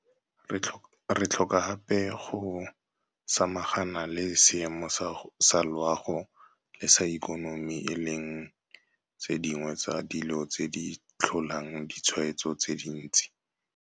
Re tlhoka gape go samagana le seemo sa loago le sa ikonomi e leng tse dingwe tsa dilo tse di tlholang ditshwaetso tse dintsi.